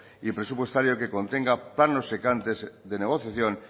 y presupuestario que contenga de negociaciones